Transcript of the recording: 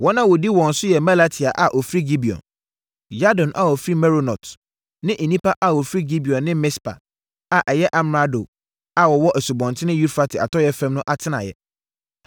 Wɔn a wɔdi wɔn so yɛ Melatia a ɔfiri Gibeon, Yadon a ɔfiri Meronot ne nnipa a wɔfiri Gibeon ne Mispa a ɛyɛ amrado a ɔwɔ Asubɔnten Eufrate atɔeɛ fam no atenaeɛ.